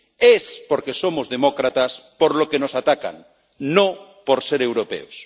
Es porque somos demócratas por lo que nos atacan, no por ser europeos.